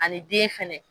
Ani den fɛnɛ